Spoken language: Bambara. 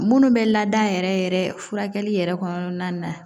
Munnu bɛ laada yɛrɛ yɛrɛ furakɛli yɛrɛ kɔnɔna na